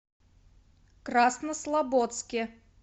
краснослободске